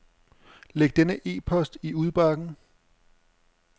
Læg denne e-post i udbakken.